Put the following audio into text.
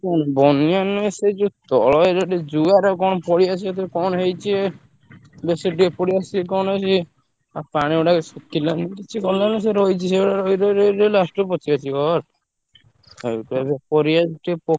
ନା ବନ୍ୟା ନୁହେଁ ସେ ଯୋଉ ତଳ area ଆଡେ ଜୁଆର କଣ ପଳେଇ ଆସି ଯେତବେଳେ କଣ ହେଇଛି ବେଶୀ ଟିକେ କଣ ସିଏ ଆଉ ପାଣି ଗୁଡାକ ସେଥିଲାଗି କିଛି ଗଲାନି ସେ ରହିଛି ସେଭଳିଆ ରହି ରହି ରହି ରହି last କୁ ପଚିପାଚି ଗଲା। ସେଇଥିଲାଗି ପରିବା କିଛି ଟିକେ,